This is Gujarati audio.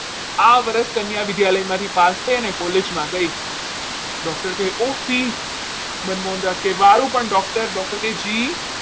હા આ વર્ષ કન્યા વિદ્યાલય માંથી પાસ થઈ અને college માં ગઈ મનમોહનદાસ કહે મારું પણ doctor કહે જી